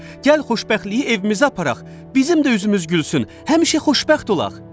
Gəl xoşbəxtliyi evimizə aparaq, bizim də üzümüz gülsün, həmişə xoşbəxt olaq.